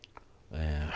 Eh...